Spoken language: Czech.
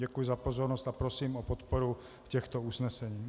Děkuji za pozornost a prosím o podporu těchto usnesení.